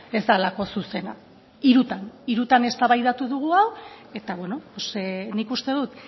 ez delako zuzena hirutan hirutan eztabaidatu dugu hau eta nik uste dut